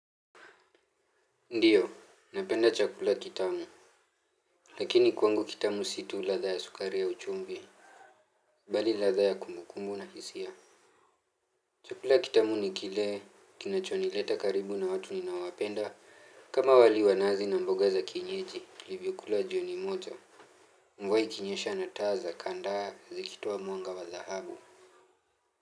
Ndio, napenda chakula kitamu. Lakini kwangu kitamu si tu ladhaa ya sukari au chumvi. Bali ladha ya kumbukumbu na hisia. Chakula kitamu ni kile kinachonileta karibu na watu ninaowapenda. Kama wali wa nazi na mboga za kinyeji, nilivyokula jioni moja, mvua ikinyesha na taa za kandaa zikitoa mwanga wa dhahabu.